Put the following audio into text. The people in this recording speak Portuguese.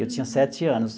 Eu tinha sete anos.